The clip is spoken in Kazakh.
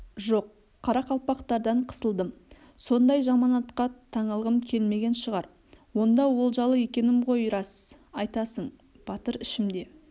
жоқ қарақалпақтардан қысылдым сондай жаманатқа таңылғым келмеген шығар онда олжалы екенмін ғой рас айтасың батыр ішімде